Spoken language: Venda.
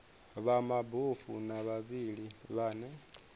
vha mabofu na vhavhali vhane